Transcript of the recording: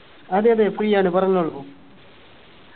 അതെ അതെ free ആണ് പറഞ്ഞോളൂ